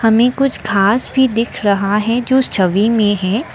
हमें कुछ घास भी दिख रहा है जो छवि में है।